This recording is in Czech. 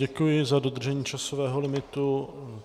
Děkuji za dodržení časového limitu.